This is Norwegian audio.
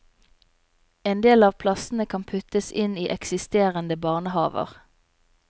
En del av plassene kan puttes inn i eksisterende barnehaver.